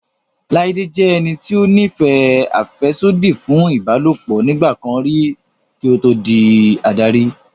Láídé jẹ́ ẹni tó ní ìfẹ́ àfẹ́sódì fún ìbálòpọ̀ nígbà kan rí kí ó tó di adarí